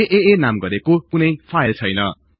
आआ नाम गरेको कुनै फाईल छैन